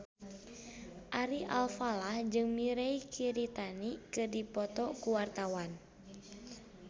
Ari Alfalah jeung Mirei Kiritani keur dipoto ku wartawan